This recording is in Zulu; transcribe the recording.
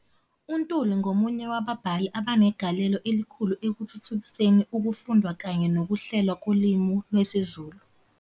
UNtuli ungomunye wababhali abanegalelo elikhulu ekuthuthukiseni ukufundwa kanye nokuhlelwa kolimi lwesiZulu.